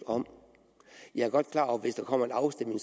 om jeg er godt klar over at hvis der kommer en afstemning